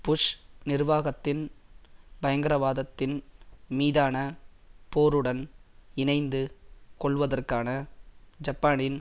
push நிர்வாகத்தின் பயங்கரவாதத்தின் மீதான போருடன் இணைந்து கொள்ளுவதற்கான ஜப்பானின்